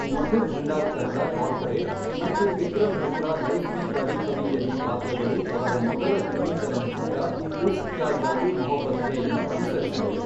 Madhur Bhandarkar ರ Corporate ಮತ್ತು ವಿಕ್ರಮ್ ಭಟ್ ರ ಲೈಫ಼್ ಮೆ ಕಭಿ ಕಭಿ ಯಲ್ಲಿ ಪಾತ್ರಗಳು ಅವರ ಮೊದಲ ಹಿಂದಿ ಚಲನಚಿತ್ರ ಉಫ಼್ ಕ್ಯಾ ಜಾದೂ ಮೊಹಬ್ಬತ್ ಹೆ ಯನ್ನು ಅನುಸರಿಸಿದವು.